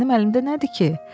Mənim əlimdə nədir ki?